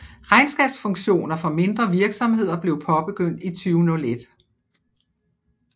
Regnskabsfunktioner for mindre virksomheder blev påbegyndt i 2001